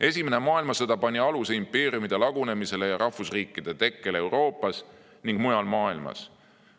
Esimene maailmasõda pani aluse impeeriumide lagunemisele ning rahvusriikide tekkele Euroopas ja mujal maailmas.